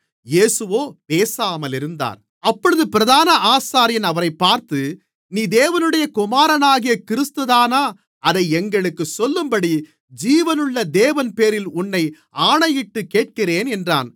இயேசுவோ பேசாமலிருந்தார் அப்பொழுது பிரதான ஆசாரியன் அவரைப் பார்த்து நீ தேவனுடைய குமாரனாகிய கிறிஸ்துதானா அதை எங்களுக்குச் சொல்லும்படி ஜீவனுள்ள தேவன்பேரில் உன்னை ஆணையிட்டுக் கேட்கிறேன் என்றான்